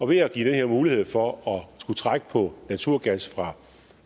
ved at give den her mulighed for at skulle trække på naturgas